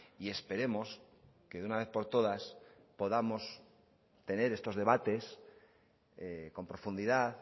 y esperemos que de una vez por todas podamos tener estos debates con profundidad